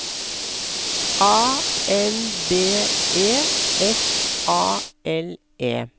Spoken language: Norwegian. A N B E F A L E